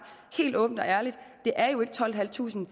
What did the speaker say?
helt åbent og ærligt det er jo ikke tolvtusinde